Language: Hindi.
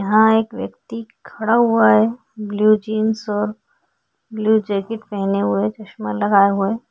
यहाँ एक व्यक्ति खड़ा हुआ है ब्लू जीन्स और ब्लू जैकेट पहने हुए चश्मा लगाया हुए।